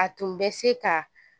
A tun bɛ se ka